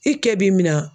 I kɛ b'i min na